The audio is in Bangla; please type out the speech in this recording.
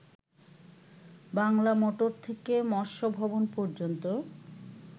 বাংলা মোটর থেকে মৎস্য ভবন পর্যন্ত